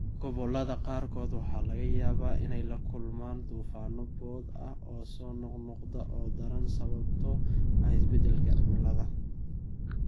Gobollada qaarkood waxaa laga yaabaa inay la kulmaan duufaanno boodh ah oo soo noqnoqda oo daran sababtoo ah isbeddelka cimilada.